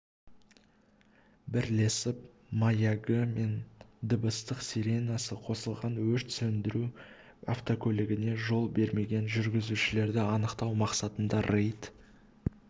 бірлесіп маягы мен дыбыстық сиренасы қосылған өрт сөндіру автокөлігіне жол бермеген жүргізушілерді анықтау мақсатында рейд